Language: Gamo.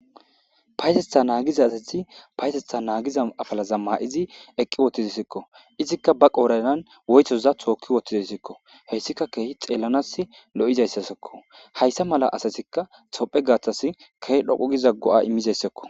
Payatetha nagiza asazi payatetha nagiza apalaza mayid eqi utidesko . Woytoza toki utidesko. Haysika xelanas keeh lo'zaysasako. Haysa mala asaz tophiyas keeh dhoqu giza go'a imizayasako.